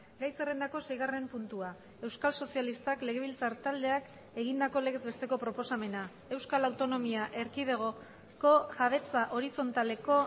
gai zerrendako seigarren puntua euskal sozialistak legebiltzar taldeak egindako legez besteko proposamena euskal autonomia erkidegoko jabetza horizontaleko